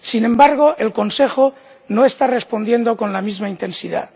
Sin embargo, el Consejo no está respondiendo con la misma intensidad.